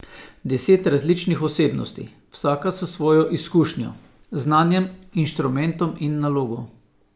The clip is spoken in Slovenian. Deset različnih osebnosti, vsaka s svojo izkušnjo, znanjem, inštrumentom in nalogo.